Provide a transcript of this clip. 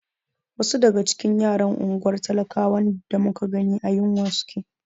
Wasu daga cikin yaran unguwar talakawan da muka gani a yunwa suke.